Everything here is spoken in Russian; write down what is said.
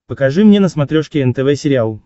покажи мне на смотрешке нтв сериал